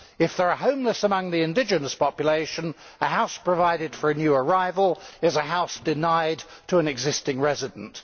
If there are homeless among the indigenous population, a house provided for a new arrival is a house denied to an existing resident.